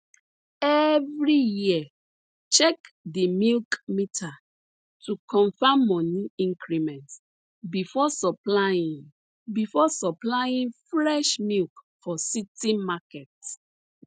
every year check di milk meter to confirm money increment before supplying before supplying fresh milk for city market